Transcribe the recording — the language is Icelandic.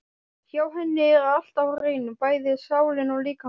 Hjá henni er allt á hreinu, bæði sálin og líkaminn.